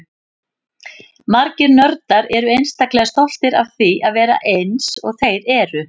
Margir nördar eru einstaklega stoltir af því að vera eins og þeir eru.